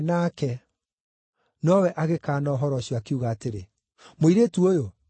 Nowe agĩkaana ũhoro ũcio, akiuga atĩrĩ, “Mũirĩtu ũyũ, niĩ ndimũũĩ.”